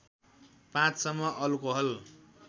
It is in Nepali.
५ सम्म अल्कोहल